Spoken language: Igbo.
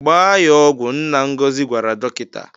"Gbaa ya ọgwụ," Nna Ngozi gwara dọkịta.